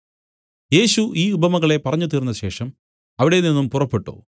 യേശു ഈ ഉപമകളെ പറഞ്ഞു തീർന്നശേഷം അവിടെനിന്നും പുറപ്പെട്ടു